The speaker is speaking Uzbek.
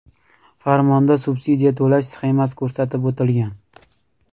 Farmonda subsidiya to‘lash sxemasi ko‘rsatib o‘tilgan.